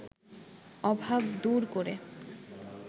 অভাব দূর করে